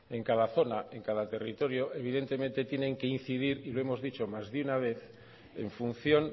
en cada zona en cada territorio evidentemente tienen que incidir y lo hemos dicho más de una vez en función